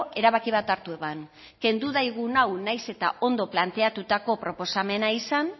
erabaki bat hartu eban kendu daigun hau nahiz eta ondo planteatutako proposamena izan